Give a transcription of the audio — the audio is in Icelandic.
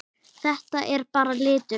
Þetta er bara litur.